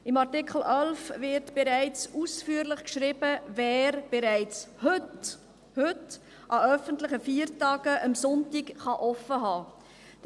Im Artikel 11 wird ausführlich beschrieben, wer bereits heute – heute! – an öffentlichen Feiertagen am Sonntag offen haben kann.